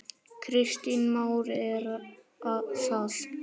Kristján Már: Er það?